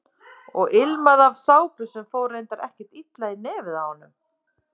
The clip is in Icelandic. Og ilmaði af sápu sem fór reyndar ekkert illa í nefið á honum.